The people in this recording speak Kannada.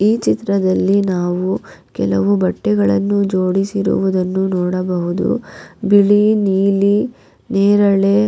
ಈ ಚಿತ್ರದಲ್ಲಿ ನಾವು ಕೆಲವು ಬಟ್ಟೆಗಳನ್ನು ಜೋಡಿಸಿರುವುದನ್ನು ನೋಡಬಹುದು ಬಿಳಿ ನೀಲಿ ನೇರಳೆ.